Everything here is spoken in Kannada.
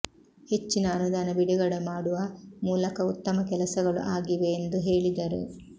ಹೆಚ್ಚಿನ ಅನುದಾನ ಬಿಡುಗಡೆ ಮಾಡುವ ಮೂಲಕ ಉತ್ತಮ ಕೆಲಸಗಳು ಆಗಿವೆ ಎಂದು ಹೇಳಿದರು